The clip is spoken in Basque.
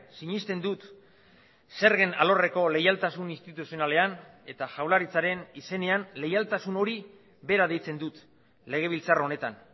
sinesten dut zergen alorreko leialtasun instituzionalean eta jaurlaritzaren izenean leialtasun hori bera deitzen dut legebiltzar honetan